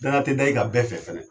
Danaya tɛ da i ka bɛɛ fɛ fɛnɛ.